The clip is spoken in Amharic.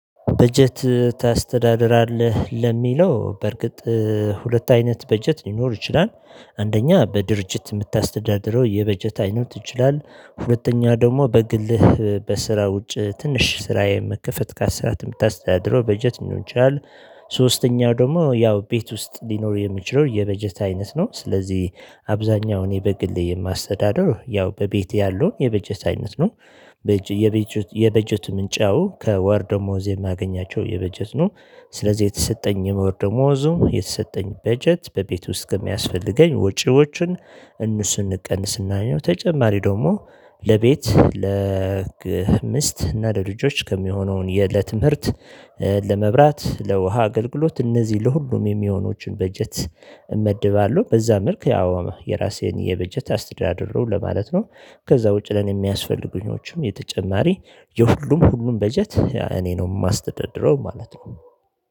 በጀት ታስተዳድራለህ ለሚለው በርግጥ ሁለት አይነት በጀት ሊኖር ይችላል። አንደኛ በድርጅት ምታስተዳድረው የበጀት አይነት ይችላል ሁለተኛ ደግሞ በግልህ በስራ ውጭ ትንሽ ስራ የመከፈት ከስራ ምታስተዳድረው በጀት ሊኖር ይችላል። ሶስተኛው ደግሞ ያው ቤት ውስጥ ሊኖር የሚችለው የበጀት አይነት ነው ስለዚህ አብዛኛው እኔ በግሌ የማስተዳድረው ያው በቤቴ ያለው የበጀት አይነት ነው። የበጀት ምንጫው ከወር ደሞዜ ማገኛቸው የበጀት ነው። ስለዚህ የተሰጠኝ የወር ደሞዙ የተሰጠኝ በጀት በቤት ውስጥ ከሚያስፈልገኝ ወጪዎችን እነሱን እንቀንስና ነው። ተጨማሪ ደግሞ ለቤት ለምስት እና ለልጆች ከሚሆነው የዕለትምርት። ለመብራት ለውሃ አገልግሎት እነዚህ ለሁሉም የሚሆኑችን በጀት እመድባለሁ። በዛ መልክ ያው የራሴን የበጀት አስተዳደሩ ለማለት ነው። ከዛ ውጪ ለኔ የሚያስፈልጉኞቹም የተጨማሪ የሁሉም ሁሉም በጀት እኔ ነው ማስተዳድረው ማለት ነው